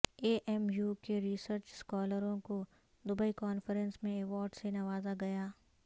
اے M U کے research اسکالروں کو دبئی کانفرنس میں ایوارڈ سے نوازا گیا